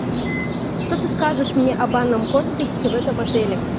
что ты скажешь мне о банном комплексе в этом отеле